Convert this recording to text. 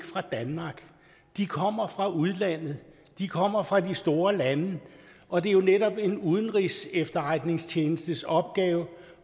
fra danmark de kommer fra udlandet de kommer fra de store lande og det er jo netop en udenrigsefterretningstjenestes opgave